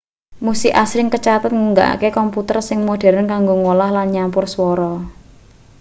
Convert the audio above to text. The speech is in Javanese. musik asring kacathet nggunakake komputer sing modheren kanggo ngolah lan nyampur swara